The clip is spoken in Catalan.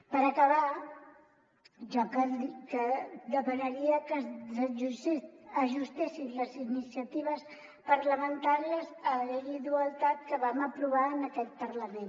per acabar jo demanaria que s’ajustessin les iniciatives parlamentàries a la llei d’igualtat que vam aprovar en aquest parlament